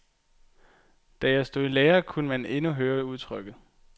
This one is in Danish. Da jeg stod i lære, kunne man endnu høre udtrykket.